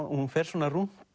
hún fer svona rúnt